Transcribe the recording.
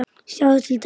Sjáðu til dæmis